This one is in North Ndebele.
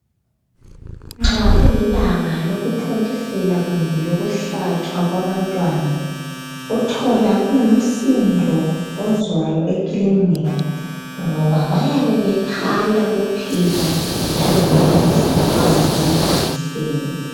Nxa kulilanga lokuthontisela kumbe elokuhlatshwa kwabantwana uthola kungumsindo ozwayo ekilinika ngoba bayabe bekhala kuphela laloba bengahlatshwanga ama jekiseni.